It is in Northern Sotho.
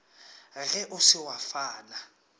ge o se wa fana